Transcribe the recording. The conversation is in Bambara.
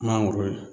Mangoro ye